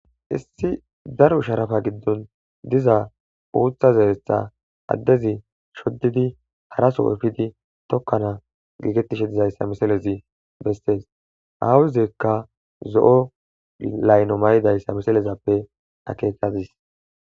issi daro sharafa giddon diza uutha zeeretha addezi shoddidi haraso efidi tokkana giigettishe dizayssa misalezi bestees aawizekka zo7o layno may7idayssa misalezappe akeekadis